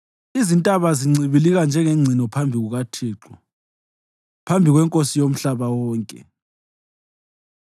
Izintaba zincibilika njengengcino phambi kukaThixo, phambi kweNkosi yomhlaba wonke.